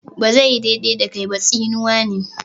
"Ba zai yi daidai da kai ba" tsinuwa ne.